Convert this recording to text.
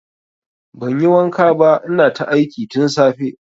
Banyi wanka ba ina ta aiki tun safe